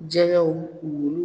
Jɛgɛw wuluw